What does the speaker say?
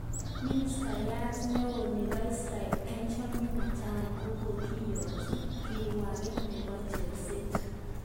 Ministayat neo nebo Israel Benjamin Netanyahu kogokiyotyi kirwoget nebo chorset